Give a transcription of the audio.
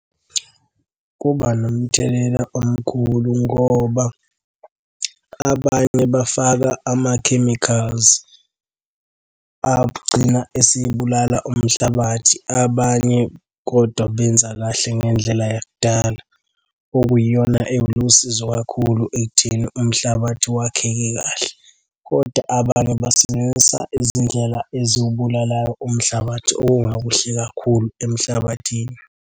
Kuba nomthelela omkhulu ngoba abanye bafaka ama-chemicals agcina esibulala umhlabathi. Abanye kodwa benza kahle ngendlela yakudala, okuyiyona elusizo kakhulu ekutheni umhlabathi wakheke kahle, kodwa abanye basebenzisa izindlela ezubulalayo umhlabathi okungakuhle kakhulu emhlabathini.